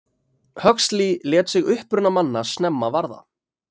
huxley lét sig uppruna manna snemma varða